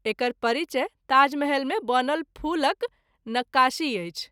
एकर परिचय ताजमहल मे बनल फूलक नक़्क़ाशी अछि।